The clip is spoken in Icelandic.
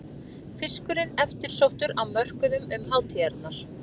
Fiskurinn eftirsóttur á mörkuðum um hátíðarnar